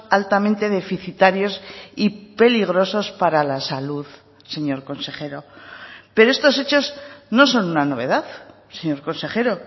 altamente deficitarios y peligrosos para la salud señor consejero pero estos hechos no son una novedad señor consejero